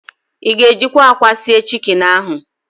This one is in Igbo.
Ị ga-ejikwa ákwà sie chiki ahụ?